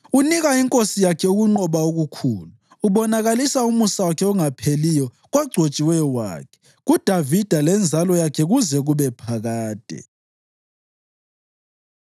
Unika inkosi yakhe ukunqoba okukhulu; ubonakalisa umusa wakhe ongapheliyo kogcotshiweyo wakhe, kuDavida lenzalo yakhe kuze kube phakade.”